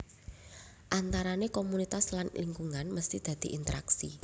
Antarane komunitas lan lingkungan mesti dadi interaksi